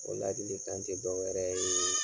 O ladilikan tɛ dɔ wɛrɛ yee